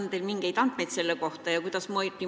Kas teil on mingeid andmeid selle kohta?